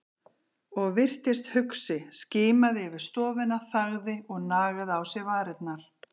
Og virtist hugsi, skimaði yfir stofuna, þagði og nagaði á sér varirnar.